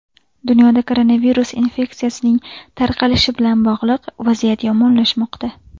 Dunyoda koronavirus infeksiyasining tarqalishiga bilan bog‘liq vaziyat yomonlashmoqda.